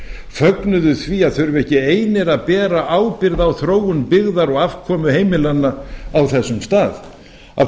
fögnuðu því að þurfa ekki einir að bera ábyrgð á þróun byggðar og afkomu heimilanna á þessum stað af